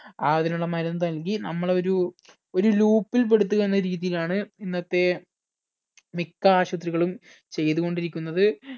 അതിനുള്ള മരുന്ന് നൽകി നമ്മളെ ഒരു loop ഇൽ പെടുത്തുക എന്ന രീതിയിലാണ് ഇന്നത്തെ മിക്ക ആശുത്രികളും ചെയ്തുകൊണ്ടിരിക്കുന്നത്